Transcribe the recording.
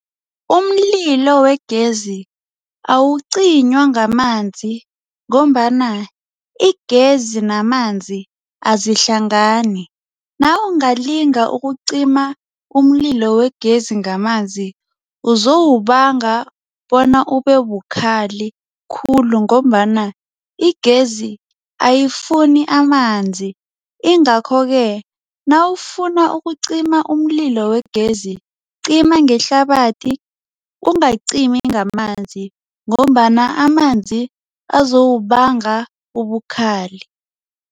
Umlilo wegezi awucinywa ngamanzi ngombana igezi namanzi azihlangani. Nawungalinga ukucima umlilo wegezi ngamanzi uzowubanga bona ubebukhali khulu ngombana igezi ayifuni amanzi. Ingakho-ke nawufuna ukucima umlilo wegezi cima ngehlabathi ungakacimi ngamanzi ngombana amanzi azowubanga ubukhali.